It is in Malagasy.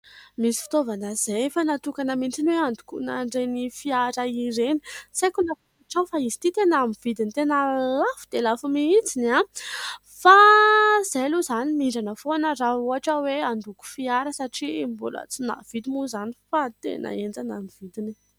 Misy fitaovana izay efa natokana mihintsy ho handokoana an'ireny fiara ireny, tsy aiko na fantatrao fa izy ity tena amin'ny vidiny tena lafo dia lafo mihintsy fa izahay aloha izany mindrana foana raha ohatra hoe handoko fiara satria mbola tsy nahavidy moa izany fa tena enjana ny vidiny e !